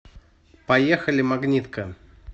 поехали магнитка